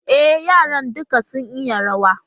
E, yaran duka sun iya ruwa